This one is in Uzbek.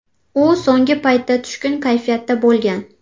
U so‘nggi paytda tushkun kayfiyatda bo‘lgan.